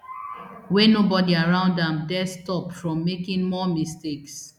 wey nobody around am dare stop from making more mistakes